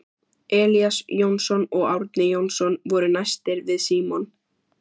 Elías Jónsson og Árni Jónsson voru næstir við Símon.